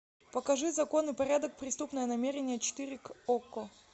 покажи закон и порядок преступное намерение четыре к окко